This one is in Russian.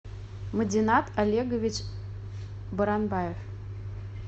мадинат олегович баранбаев